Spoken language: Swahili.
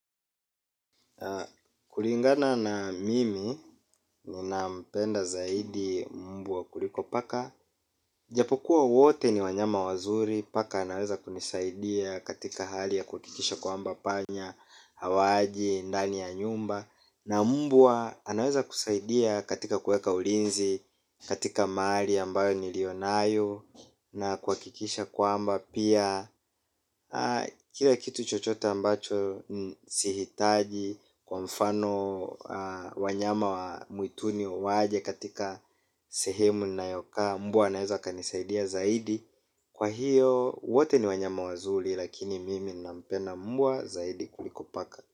Na kulingana na mimi, ninampenda zaidi mbwa kuliko paka. Japokuwa wote ni wanyama wazuri, paka anaweza kunisaidia katika hali ya kuhakikisha kwamba panya, hawaji, ndani ya nyumba. Na mbwa anaweza kusaidia katika kueka ulinzi, katika mali ambayo niliyonayo. Na kuhakikisha kwamba pia kila kitu chochote ambacho sihitaji kwa mfano wanyama wa mwituni waje katika sehemu nayokaa mbwa anaeza kanisaidia zaidi, kwa hiyo wote ni wanyama wazuri. Lakini mimi nampenda mbwa zaidi kuliko paka.